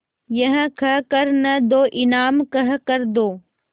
यह कह कर न दो इनाम कह कर दो